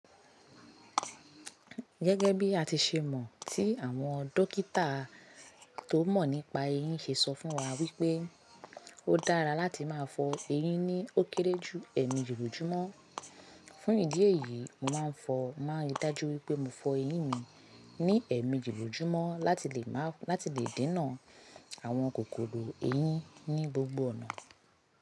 Gẹ́gẹ́ bí a ti ṣe mọ̀ tí àwọn dókítà tó mọ̀ nípa eyín ṣe sọ fún wa wípé ó dára láti máa fọ eyín ní ó kéré jù ẹ̀ẹ̀meji lòjúmọ́. Fún ìdí èyí, mo màá n fọ̀, mo màá rí dájú wípé mo fọ eyín mi ní ẹ̀ẹ̀mejí lòjúmọ́ láti lè ma lati le dènà àwọn kòkòrò eyín ní gbogbo ọ̀nà.